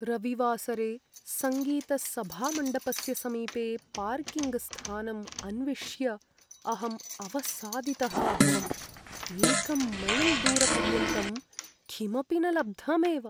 रविवासरे सङ्गीतसभामण्डपस्य समीपे पार्किङ्ग्स्थानम् अन्विष्य अहम् अवसादितः अभवम्, एकं मैल् दूरपर्यन्तं किमपि न लब्धमेव।